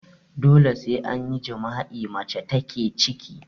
Dole sai an yi jima'i mace take ciki